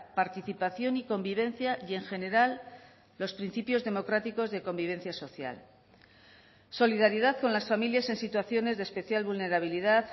participación y convivencia y en general los principios democráticos de convivencia social solidaridad con las familias en situaciones de especial vulnerabilidad